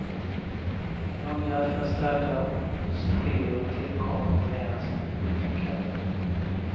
Några förströdda ostskivor tillkommer mera som dekor.